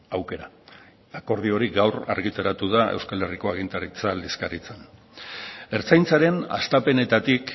aukera akordio hori gaur argitaratu da euskal herriko agintaritza aldizkaritzan ertzaintzaren hastapenetatik